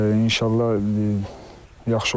İnşallah yaxşı olar.